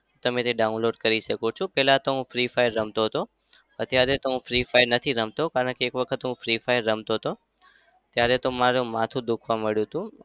તમે તે download કરી શકો છો. પહેલા તો હું free fire રમતો હતો. અત્યારે તો હું free fire નથી રમતો. કારણકે એક વખત free fire રમતો હતો ત્યારે તો મારું માથું દુખાવા માંડ્યું હતું.